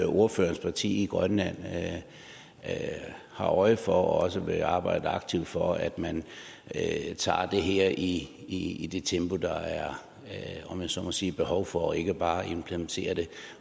ordførerens parti i grønland har øje for og også vil arbejde aktivt for nemlig at man tager det her i i det tempo der om jeg så må sige er behov for og ikke bare implementerer det